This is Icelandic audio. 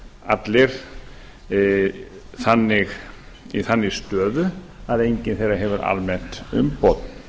allir í þannig stöðu að enginn þeirra hefur almennt umboð